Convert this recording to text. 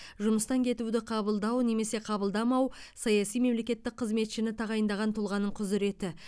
жұмыстан кетуді қабылдау немесе қабылдамау саяси мемлекеттік қызметшіні тағайындаған тұлғаның құзіреті